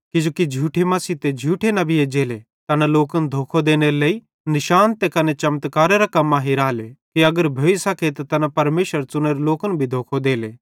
किजोकि झूठे मसीह ते कने झूठे नबी एज्जले तैना लोकन धोखो देनेरे लेइ निशान ते कने चमत्कारेरां कम्मां हिराले कि अगर भोइ सके त तैना परमेशरेरे च़ुनोरे लोकन भी धोखो देले